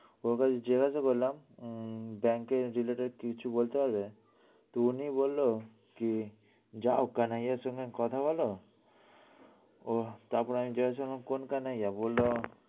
ওকে আমি জিজ্ঞাসা করলাম উম bank এ কিছু বলতে পারবে? উনি বললো যে, যাও কানাইয়ের সঙ্গে কথা বলো। ওহ তারপর আমি জিজ্ঞাসা করলাম কোন কানাইয়া?